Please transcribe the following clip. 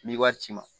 N'i wari ci ma